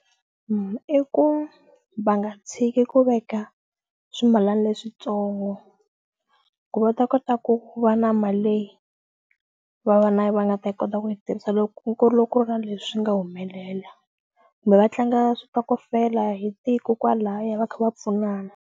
I ku va nga tshiki ku veka swimalana leswitsongo ku va ta kota ku va na mali leyi va va na va nga ta yi kota ku yi tirhisa loko ku ri loko ku ri na leswi nga humelela kumbe va tlanga switokofela hi tiko kwalaya va kha va pfunana.